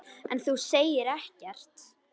En þú segir ekkert.